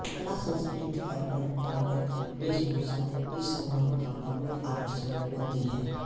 कला संस्कृति और परम्परागत वेशभूषा इस समारोह का प्रमुख आर्कषण होती है